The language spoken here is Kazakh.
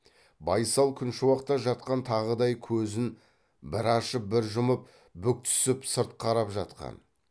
байсал күншуақта жатқан тағыдай көзін бір ашып бір жұмып бүк түсіп сырт қарап жатқан